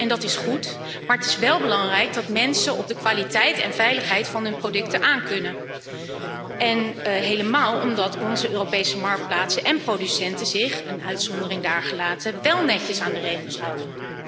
Dat is goed, maar het is wel belangrijk dat mensen op de kwaliteit en veiligheid van hun producten aan kunnen, zeker omdat onze Europese marktplaatsen en producenten zich een uitzondering daargelaten wél netjes aan de regels houden.